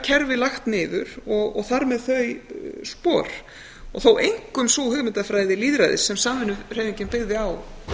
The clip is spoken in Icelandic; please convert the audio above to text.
kerfi lagt niður og þar með þau spor og þó einkum sú hugmyndafræði lýðræðis sem samvinnuhreyfingin byggði á